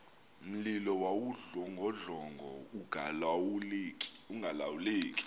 mlilo wawudlongodlongo ungalawuleki